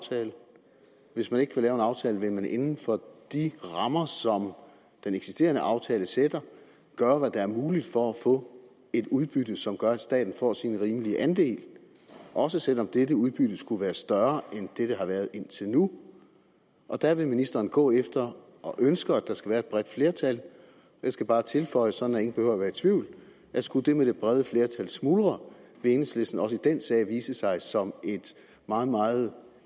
hvis man ikke kan lave en aftale vil man inden for de rammer som den eksisterende aftale sætter gøre hvad der er muligt for at få et udbytte som gør at staten får sin rimelige andel også selv om dette udbytte skulle være større end det der har været indtil nu og der vil ministeren gå efter og ønsker at der skal være et bredt flertal jeg skal bare tilføje sådan at ingen behøver at være i tvivl at skulle det med det brede flertal smuldre vil enhedslisten også i den sag vise sig som et meget meget